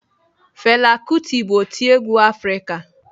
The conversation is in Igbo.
Fela kuti bụ otiegwu Afrịka.